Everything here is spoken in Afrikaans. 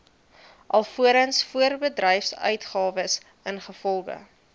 alvorens voorbedryfsuitgawes ingevolge